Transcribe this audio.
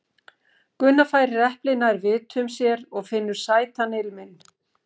Gunna færir eplið nær vitum sér og finnur sætan ilminn.